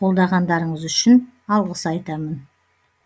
қолдағандарыңыз үшін алғыс айтамын